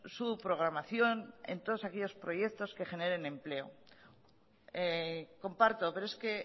su programación en todos aquellos proyectos que generen empleo comparto pero es que